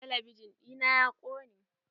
Talabijin ɗina ya ƙone.